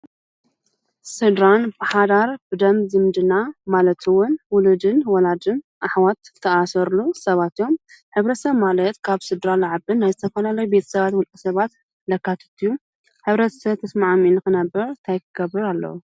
ስድራ ብሓዳር ብደም ዝምድና ማለት ዉን ዉሉድን ወላድን አሕዋትን ዝተአሳስርሉን ሰባት እዮም ሕብረተሰብ ማለት ካብ ስድራ ልዓብን ናይ ዝተፈላለዩ ቤተሰባት ዉልቀሰባት ዘካትት እዪ:: ሕብረተሰብ ተስማዕሚዑ ነክነብር ታይ ክገብር አለዎ ?